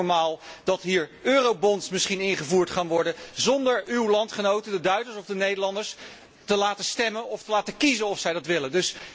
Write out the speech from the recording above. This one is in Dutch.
En vindt u het normaal dat er misschien Eurobonds ingevoerd gaan worden zonder uw landgenoten, de Duitsers of de Nederlanders te laten stemmen of te laten kiezen of zij dat willen?